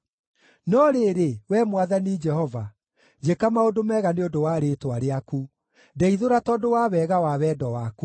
No rĩrĩ, Wee Mwathani Jehova, njĩka maũndũ mega nĩ ũndũ wa rĩĩtwa rĩaku; ndeithũra tondũ wa wega wa wendo waku.